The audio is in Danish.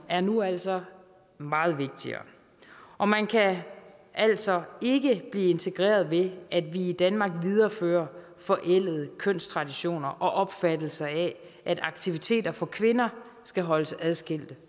er nu altså meget vigtigere og man kan altså ikke blive integreret ved at vi i danmark viderefører forældede kønstraditioner og opfattelser af at aktiviteter for kvinder skal holdes adskilt